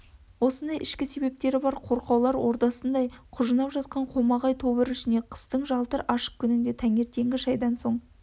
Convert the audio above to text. осындай ішкі есептері бір қорқаулар ордасындай құжынап жатқан қомағай тобыр ішіне қыстың жалтыр ашық күнінде таңертеңгі шайдан соң